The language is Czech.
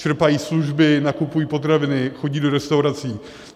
Čerpají služby, nakupují potraviny, chodí do restaurací.